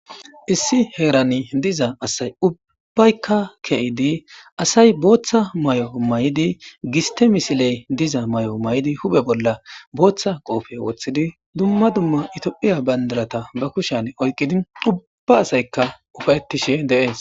Issi heran diza asay ubbayka ke'id asay Botha mayo mayid giste misiley diza mayo mayid hu'e bolla bootha qope wothid dumma dumma ethiopia bandirata oykid ubba asayka uafe'etishe de'es.